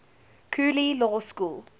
cooley law school